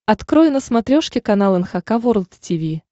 открой на смотрешке канал эн эйч кей волд ти ви